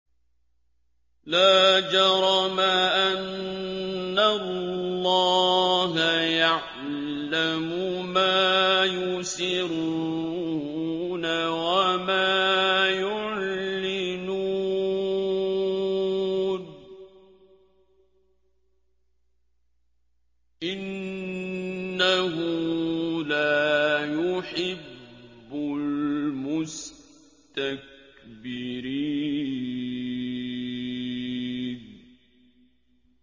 لَا جَرَمَ أَنَّ اللَّهَ يَعْلَمُ مَا يُسِرُّونَ وَمَا يُعْلِنُونَ ۚ إِنَّهُ لَا يُحِبُّ الْمُسْتَكْبِرِينَ